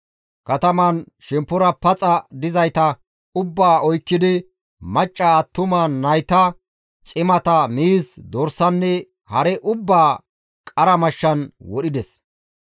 Katamaan shemppora paxa dizayta ubbaa oykkidi macca, attuma, nayta, cimata, miiz, dorsanne hare ubbaa qara mashshan wodhides.